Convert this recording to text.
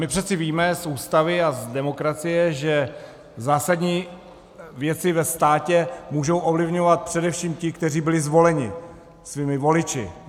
My přece víme z Ústavy a z demokracie, že zásadní věci ve státě můžou ovlivňovat především ti, kteří byli zvoleni svými voliči.